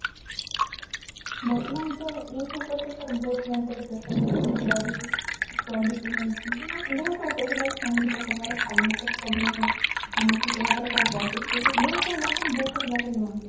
ବର୍ତ୍ତମାନ ତ ଏଇଠୁ ଉପରେ ତ sir ବହୁତ mentally pressure ରୁହେ study study କୁ ନେଇକି ବହୁତ ସାରା pressure like financial problem ହୁଏ ବହୁତ ସାରା ଲୋକମାନେ ବହୁତ ସାରା